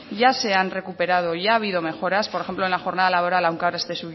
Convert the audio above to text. ya se han recuperado ya ha habido mejoras por ejemplo en la jornada laboral aunque ahora esté